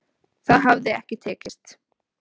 Það hafi ekki tekist